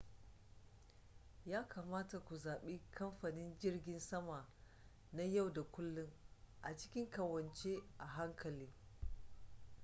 ya kamata ku zaɓi kamfanin jirgin sama na yau da kullun a cikin ƙawance a hankali